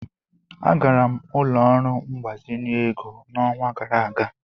Agara m ụlọ ọrụ mgbazinye ego n'ọnwa gara aga.